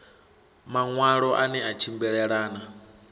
maṋwalo a ne a tshimbilelana